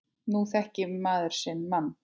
Nú þekkir maður sinn mann.